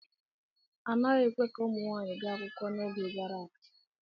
A naghị ekwe ka ụmụ nwanyị gaa akwụkwọ n'oge gara aga.